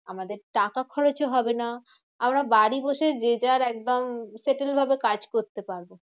আমাদের টাকা খরচও হবে না। আমরা বাড়ি বসে যে যার একদম sattle ভাবে কাজ করতে পারবো।